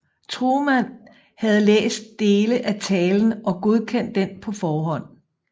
Truman havde læst dele af talen og godkendt den på forhånd